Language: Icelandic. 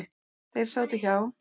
Þeir sátu hjá.